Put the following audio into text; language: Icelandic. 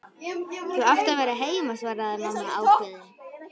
Þú átt að vera heima, svaraði mamma ákveðin.